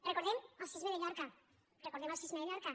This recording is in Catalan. recordem el sisme de llorca recordem el sisme de llorca